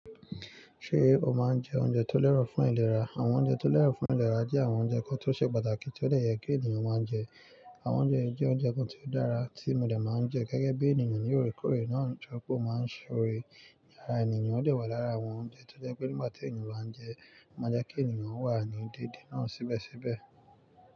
Ṣé o máa ń jẹ oúnjẹ tó lẹ́rù fún ìlera? Àwọn oúnjẹ tó lẹ́rù fún ìlera jẹ́ àwọn oúnjẹ kan tó ṣe pàtàkì tí ó lè yẹ kí ènìyàn máa ń jẹ. Àwọn oúnjẹ yìí jẹ́ oúnjẹ kan tí ó dára tí mo lè máa ń jẹ gẹ́gẹ́ bí ènìyàn ni orekórè náà ń sọ pé o máa ń ṣe òrí ìyàrá ènìyàn lè wà lára àwọn oúnjẹ tó jẹ́ pé nígbà tí ènìyàn bá ń jẹ, máa jẹ́ kí ènìyàn wà ní déédé náà síbẹ̀síbẹ̀.